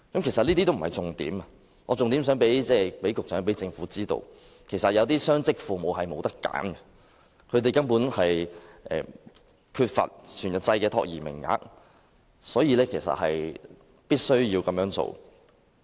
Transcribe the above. "其實，這些都不是重點，我重點是想讓局長和政府知道，有些雙職父母並無選擇，由於缺乏全日制託兒名額，他們必須要這樣做。